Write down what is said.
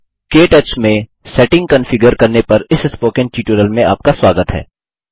के टच में setting configure करने पर इस स्पोकन ट्यूटोरियल में आपका स्वागत है